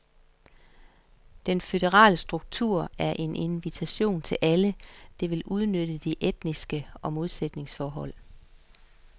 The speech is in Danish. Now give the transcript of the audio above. Den føderale struktur er en invitation til alle, der vil udnytte de etniske modsætningsforhold.